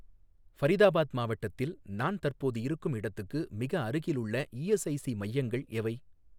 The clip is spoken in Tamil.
ஃபரிதாபாத் மாவட்டத்தில் நான் தற்போது இருக்கும் இடத்துக்கு மிக அருகிலுள்ள இஎஸ்ஐசி மையங்கள் எவை?